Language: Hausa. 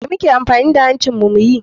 Me muke amfani da hancin mu muyi?